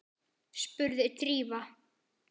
spurði Drífa.